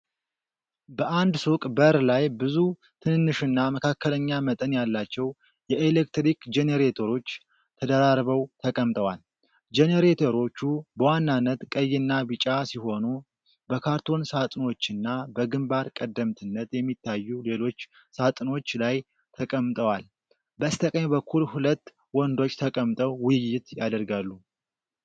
በአንድ ሱቅ በር ላይ ብዙ ትንንሽና መካከለኛ መጠን ያላቸው የኤሌክትሪክ ጀነሬተሮች ተደራርበው ተቀምጠዋል። ጀነሬተሮቹ በዋናነት ቀይና ቢጫ ሲሆኑ በካርቶን ሳጥኖችና በግንባር ቀደምትነት በሚታዩ ሌሎች ሳጥኖች ላይ ተቀምጠዋል። በስተቀኝ በኩል ሁለት ወንዶች ተቀምጠው ውይይት ያደርጋሉ።